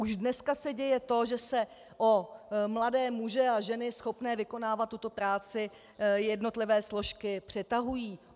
Už dneska se děje to, že se o mladé muže a ženy schopné vykonávat tuto práci jednotlivé složky přetahují.